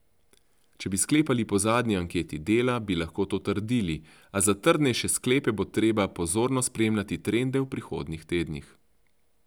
Če bi sklepali po zadnji anketi Dela, bi lahko to trdili, a za trdnejše sklepe bo treba pozorno spremljati trende v prihodnjih tednih.